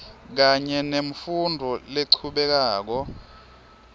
kanye nemfundvo lechubekako